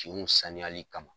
Kinw saniyali kama.